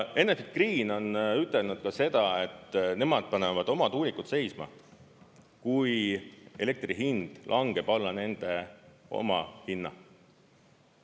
Enefit Green on ütelnud seda, et nemad panevad oma tuulikud seisma, kui elektri hind langeb alla nende omahinna.